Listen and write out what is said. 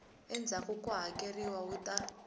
endzhaku ku hakeleriwa wu ta